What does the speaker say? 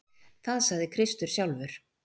Það sagði Kristur sjálfur.